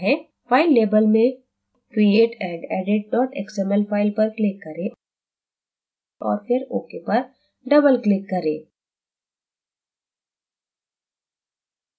file label में create _ and _ edit xml file पर click करें और फिर ok पर doubleclick करें